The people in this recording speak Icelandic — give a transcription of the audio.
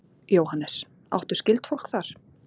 Jóhannes: Áttu skyldfólk þar?